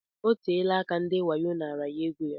Oteela aka ndị wayo naara ya égo ya.